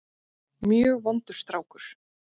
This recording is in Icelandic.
Mjög vondur strákur.